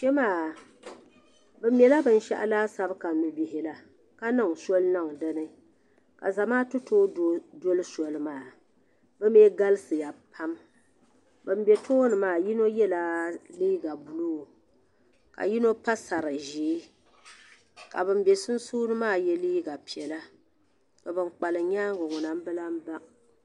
Kpemaa bɛ mɛla binshaɣu laasabu ka nubihi la ka niŋ soli niŋ dini ka Zamaatu too doli soli maa bɛ mee galisiya pam ban be tooni maa yino yela liiga buluu ka yino pa sari'ʒee ka ban be sunsuuni maa ye liiga piɛlla ka bankpalim nyaanga ŋuna m bi lahibaŋ.